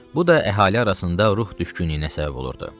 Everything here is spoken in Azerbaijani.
Bu da əhali arasında ruh düşkünlüyünə səbəb olurdu.